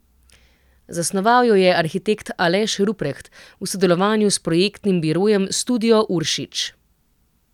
Zasnoval jo je arhitekt Aleš Rupreht v sodelovanju s projektnim birojem Studio Uršič.